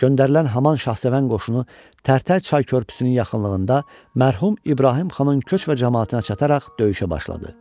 Göndərilən Haman Şahsevən qoşunu Tərtər çay körpüsünün yaxınlığında mərhum İbrahim xanın köç və camaatına çataraq döyüşə başladı.